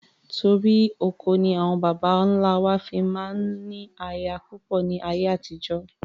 Torí oko ni àwọn baba ńlá wa fi máa ń ní aya púpọ̀ ni ayé àtijọ́